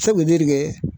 Sabu ne de